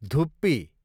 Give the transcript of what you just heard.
धुप्पी